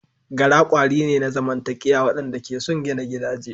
Gara kwari ne na zamantakewa waɗanda ke son gina gidaje.